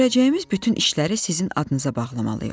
Görəcəyimiz bütün işləri sizin adınıza bağlamalıyıq.